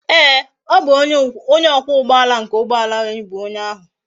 Ee o bu onye okwa ugboala nke ugboala anyi bu onye ahu